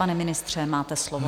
Pane ministře, máte slovo.